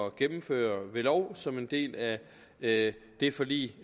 at gennemføre ved lov som en del af det det forlig